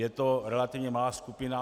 Je to relativně malá skupina.